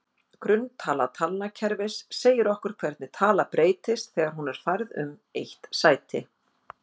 Grunntala talnakerfis segir okkur hvernig tala breytist þegar hún er færð um eitt sæti.